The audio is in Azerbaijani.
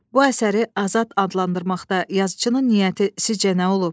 Bu əsəri azad adlandırmaqda yazıçının niyyəti sizcə nə olub?